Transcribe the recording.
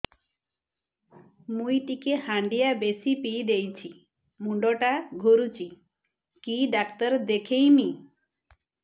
ମୁଇ ଟିକେ ହାଣ୍ଡିଆ ବେଶି ପିଇ ଦେଇଛି ମୁଣ୍ଡ ଟା ଘୁରୁଚି କି ଡାକ୍ତର ଦେଖେଇମି